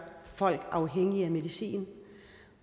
folk afhængige af medicin